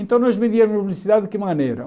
Então nós medíamos a velocidade de que maneira?